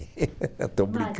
estou brincando